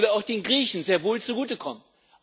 Es sollte auch den Griechen sehr wohl zugutekommen.